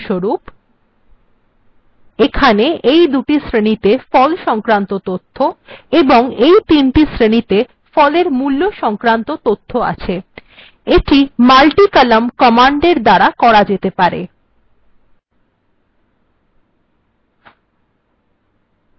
উদাহরণস্বরূপ এখানে এই দুটি শ্রেণীতে ফল সংক্রান্ত তথ্য এবং এই তিনটি শ্রেণীতে ফলের মূল্য সংক্রান্ত তথ্য আছে এটি multicolumn কমান্ডএর দ্বারা করা যেতে পারে